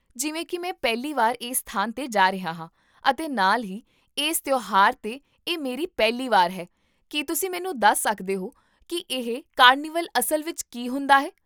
ਜਿਵੇਂ ਕੀ ਮੈਂ ਪਹਿਲੀ ਵਾਰ ਇਸ ਸਥਾਨ 'ਤੇ ਜਾ ਰਿਹਾ ਹਾਂ ਅਤੇ ਨਾਲ ਹੀ ਇਸ ਤਿਉਹਾਰ 'ਤੇ ਇਹ ਮੇਰੀ ਪਹਿਲੀ ਵਾਰ ਹੈ, ਕੀ ਤੁਸੀਂ ਮੈਨੂੰ ਦੱਸ ਸਕਦੇ ਹੋ ਕੀ ਇਹ ਕਾਰਨੀਵਲ ਅਸਲ ਵਿੱਚ ਕੀ ਹੁੰਦਾ ਹੈ?